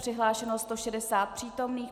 Přihlášeno 160 přítomných.